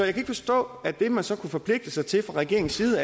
ikke forstå at det man så kunne forpligte sig til fra regeringens side